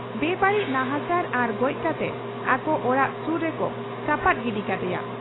ᱵᱮᱵᱟᱹᱲᱤᱡ ᱱᱟᱦᱟᱪᱟᱨ ᱟᱨ ᱜᱚᱡᱽ ᱠᱟᱛᱮ ᱟᱠᱚ ᱚᱲᱟᱜ ᱥᱩᱨ ᱨᱮᱠᱚ ᱪᱟᱯᱟᱫ ᱜᱤᱰᱤ ᱠᱟᱫᱮᱭᱟ ᱾